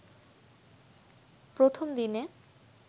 প্রথম দিনে